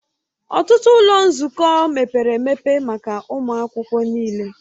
Ọtụtụ ụlọ nzukọ mepere emepe maka ụmụ akwụkwọ niile